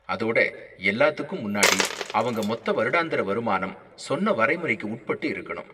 அதோட, எல்லாத்துக்கும் முன்னாடி, அவங்க மொத்த வருடாந்திர வருமானம் சொன்ன வரைமுறைக்கு உட்பட்டு இருக்கணும்.